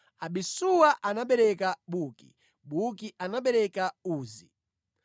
Abisuwa anabereka Buki, Buki anabereka Uzi.